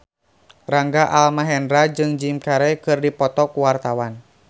Rangga Almahendra jeung Jim Carey keur dipoto ku wartawan